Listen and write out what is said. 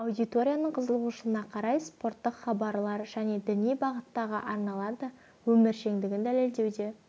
аудиторияның қызығушылығына қарай спорттық хабарлар және діни бағыттағы арналар да өміршеңдігін дәлелдеуде